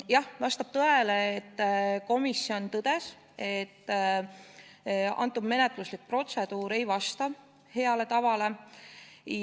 Jah, vastab tõele, et komisjon tõdes, et selle eelnõu menetluslik protseduur ei vasta heale tavale.